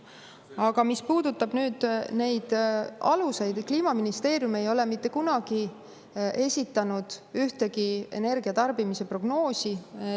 Aga mis puudutab nüüd neid aluseid, siis Kliimaministeerium ei ole mitte kunagi esitanud ühtegi energiatarbimise prognoosi.